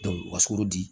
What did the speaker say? u ka sukaro di